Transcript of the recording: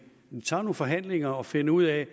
tager nogle forhandlinger og finder ud af